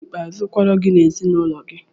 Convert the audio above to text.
Onye bụ Paịlọt ikpeazụ kwọrọ gị na ezinụlọ gị?